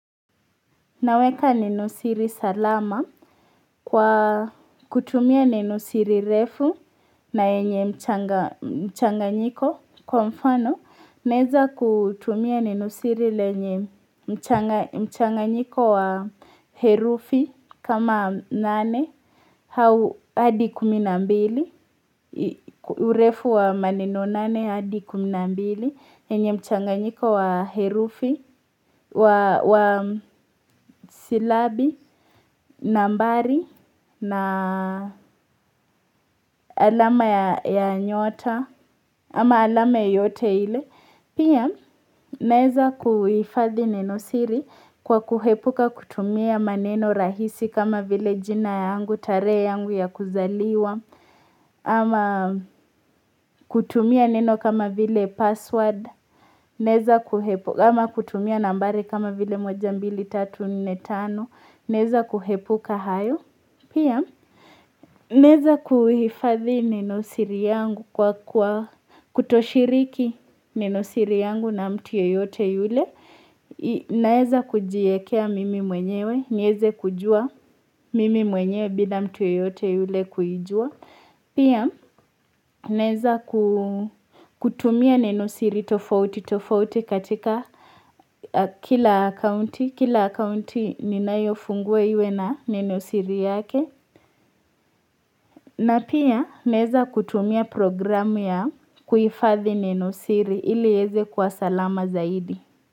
Naweka nenosiri salama kwa kutumia nenosiri refu na yenye mchanganyiko kwa mfano naeza kutumia nenosiri lenye mchanganyiko wa herufi kama nane au hadi kumi na mbili. Urefu wa maneno nane hadi kumi na mbili yenye mchanganyiko wa herufi wa silabi nambari na alama ya nyota ama alama yoyote ile pia naeza kuifadhi nenosiri kwa kuepuka kutumia maneno rahisi kama vile jina yangu tarehe yangu ya kuzaliwa ama kutumia neno kama vile password ama kutumia nambari kama vile moja mbili tatu nne tano Naeza kuepuka hayo Pia, naeza kuhifadhi nenosiri yangu kwa kutoshiriki nenosiri yangu na mtu yeyote yule Naeza kujiekea mimi mwenyewe nieze kujua mimi mwenyewe bila mtu yoyote yule kuijua Pia naeza kutumia nenosiri tofauti tofauti katika kila akaunti, kila akaunti ninayofungua iwe na nenosiri yake. Na pia naeza kutumia programu ya kuifadhi nenosiri ili ieze kwa salama zaidi.